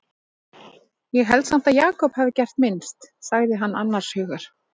Ég held samt að Jakob hafi gert minnst, sagði hann annars hugar.